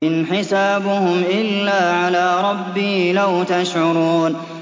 إِنْ حِسَابُهُمْ إِلَّا عَلَىٰ رَبِّي ۖ لَوْ تَشْعُرُونَ